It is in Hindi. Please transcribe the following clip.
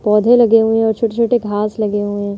पौधे लगे हुए हैं और छोटे-छोटे घांस लगे हुए हैं।